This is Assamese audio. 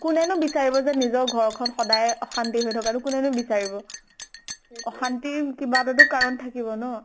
কোনেনো বিচাৰিব যে নিজৰ ঘৰ খন সদায় অশান্তি হৈ থকাতো কোনেনো বিচাৰিব। অশান্তি কিবা এটাতো কাৰণ থাকিব ন?